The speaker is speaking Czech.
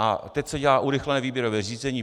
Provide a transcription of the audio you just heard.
A opět se dělá urychlené výběrové řízení.